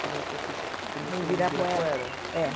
Foi na época que que começou o Ibirapuera. É.